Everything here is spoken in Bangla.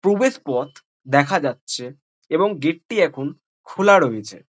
প্রবেশ পথ দেখা যাচ্ছে এবং গেট -টি এখন খোলা রয়েছে ।